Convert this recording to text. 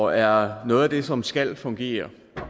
og er noget af det som skal fungere